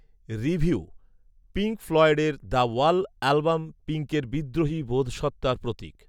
review, Pink ফ্লয়েডের “the wall” album, পিঙ্কের বিদ্রোহী বোধসত্ত্বার প্রতীক